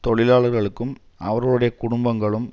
தொழிலாளர்களுக்கும் அவர்களுடைய குடும்பங்களும்